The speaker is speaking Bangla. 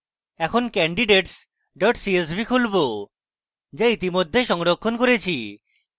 এখন candidates csv খুলবো যা ইতিমধ্যে সংরক্ষণ করেছি